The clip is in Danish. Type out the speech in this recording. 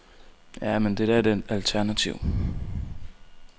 Ja, men er der da et alternativ.